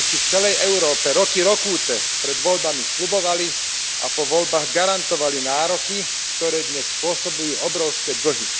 Populisti v celej Európe roky rokúce pred voľbami sľubovali, a po voľbách garantovali, nároky, ktoré dnes spôsobujú obrovské dlhy.